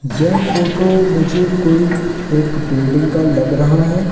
यह फोटो मुझे कोई एक बिल्डिंग का लग रहा है।